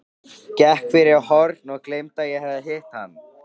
Gekk fyrir horn og gleymdi að ég hafði hitt hann.